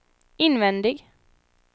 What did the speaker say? invändig